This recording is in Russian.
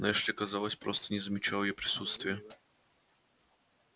но эшли казалось просто не замечал её присутствия